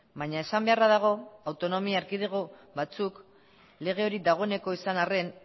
baina esan beharra dago autonomi erkidego batzuk lege hori dagoeneko izan arren